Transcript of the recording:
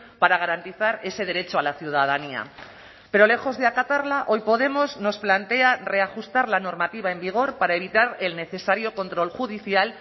para garantizar ese derecho a la ciudadanía pero lejos de acatarla hoy podemos nos plantea reajustar la normativa en vigor para evitar el necesario control judicial